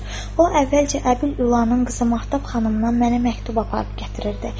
O əvvəlcə Əbil Ülanın qızı Mahtab xanımdan mənə məktub aparıb gətirirdi.